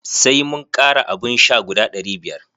Sai mun kara abun sha guda ɗari biyar.